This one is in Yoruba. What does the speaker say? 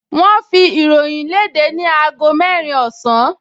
Wọ́n ń fi ìròyìn léde ni aago mẹ́rin ọ̀sán